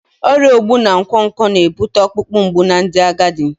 Ọrịa ogbu na nkwonkwo na-ebute ọkpụkpụ mgbu na ndị agadi